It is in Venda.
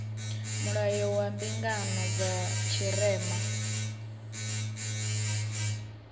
mulayo wa mbingano dza tshirema